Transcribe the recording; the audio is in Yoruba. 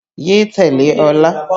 Yé tẹ̀lé Ọlá!